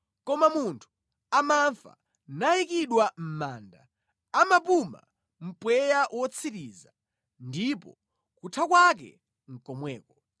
Koma munthu amafa nayikidwa mʼmanda, amapuma mpweya wotsiriza ndipo kutha kwake nʼkomweko.